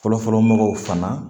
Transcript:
Fɔlɔfɔlɔ mɔgɔw fana